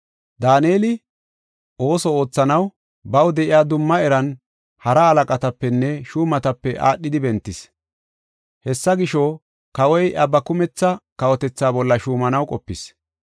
Daaneli ooso oothanaw baw de7iya dumma eran hara halaqatapenne shuumatape aadhidi bentis. Hessa gisho, kawoy iya ba kumetha kawotethaa bolla shuumanaw qopis.